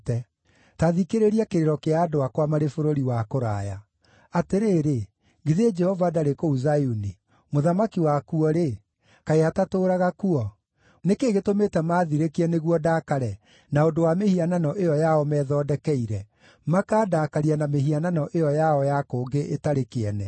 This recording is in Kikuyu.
Ta thikĩrĩria kĩrĩro kĩa andũ akwa marĩ bũrũri wa kũraya: “Atĩrĩrĩ, githĩ Jehova ndarĩ kũu Zayuni? Mũthamaki wakuo-rĩ, kaĩ atatũũraga kuo?” “Nĩ kĩĩ gĩtũmĩte maathirĩkie nĩguo ndaakare na ũndũ wa mĩhianano ĩyo yao methondekeire, makandakaria na mĩhianano ĩyo yao ya kũngĩ ĩtarĩ kĩene?”